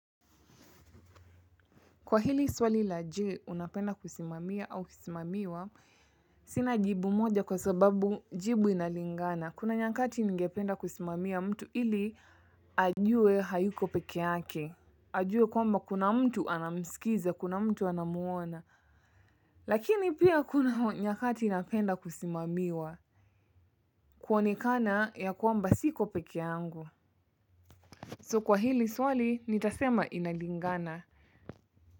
Kwa hili swali la je unapenda kusimamia au kusimamiwa? Sina jibu moja kwa sababu jibu inalingana. Kuna nyakati ningependa kusimamia mtu ili ajue hayuko peke yake. Ajue kwamba kuna mtu anamsikiza, kuna mtu anamuona. Lakini pia kuna nyakati inapenda kusimamiwa. Kuonekana ya kwamba siko peke yangu So kwa hili swali nitasema inalingana.